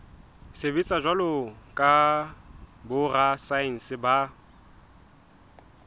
sebetsa jwalo ka borasaense ba